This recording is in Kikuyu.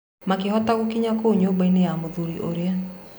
Makĩhota gũkinya kũu nyũmbainĩ ya mũthuri ũrĩa.